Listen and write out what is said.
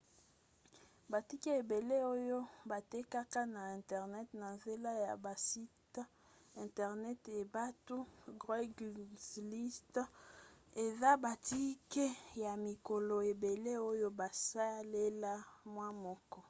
batike ebele oyo batekaka na internet na nzela ya basite internet ebay to craigslist eza batike ya mikolo ebele oyo basalela mwa moke